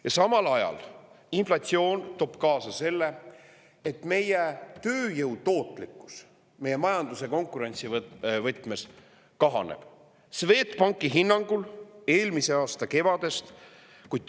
Ja samal ajal inflatsioon toob kaasa selle, et meie tööjõu tootlikkus, meie majanduse konkurentsivõtmes kahaneb Swedbanki hinnangul eelmise aasta kevadest.